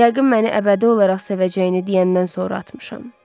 Yəqin məni əbədi olaraq sevəcəyini deyəndən sonra atmışam.